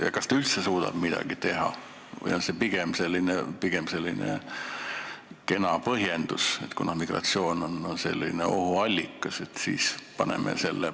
Ja kas nad üldse suudavad midagi teha või on see pigem kena põhjendus, kuna migratsioon on ohuallikas?